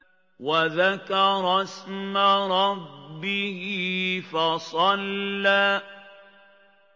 وَذَكَرَ اسْمَ رَبِّهِ فَصَلَّىٰ